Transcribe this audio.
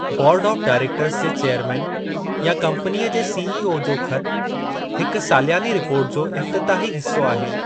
बोर्डु of directors जे chairman या company जे से ए ओ जो ख़तु हिकु सालियानी रिपोर्ट जो इफ़्तिताही हिस्सो आहे।